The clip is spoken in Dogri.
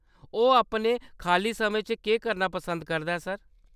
ओह्‌‌ अपने खाल्ली समें च केह्‌‌ करना पसंद करदा ऐ, सर ?